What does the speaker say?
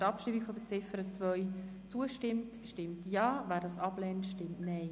Wer der Abschreibung von Ziffer 2 zustimmt, stimmt Ja, wer dies ablehnt, stimmt Nein.